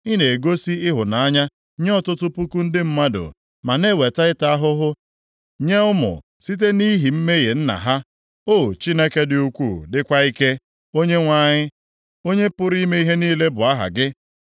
Ị na-egosi ịhụnanya nye ọtụtụ puku ndị mmadụ ma na-eweta ịta ahụhụ nye ụmụ site nʼihi mmehie nna ha. O Chineke dị ukwuu dịkwa ike, Onyenwe anyị, Onye pụrụ ime ihe niile bụ aha gị.